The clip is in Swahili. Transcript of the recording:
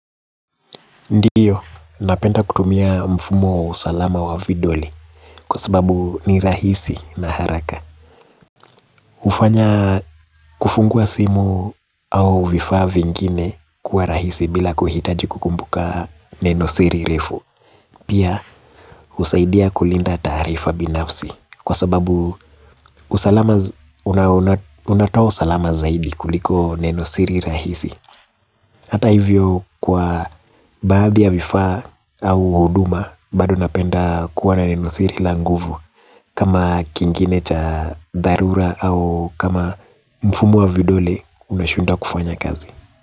Ndiyo, napenda kutumia mfumo wa usalama wa vidoli. Kwa sababu ni rahisi na haraka. Ufanya kufungua simu au vifaa vingine kuwarahisi bila kuhitaji kukumbuka neno siri refu. Pia, husaidia kulinda taarifa binafsi, kwa sababu unatoa usalama zaidi kuliko neno siri rahisi. Hata hivyo, kwa baadhi ya vifaa au huduma bado ninapenda kuwa na nenosiri la nguvu, kama kingine cha dharura au kama mfumo wa vidole unashindwa kufanya kazi.